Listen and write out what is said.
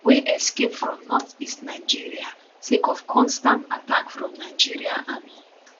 wey escape from north east nigeria sake of constant attack from nigerian army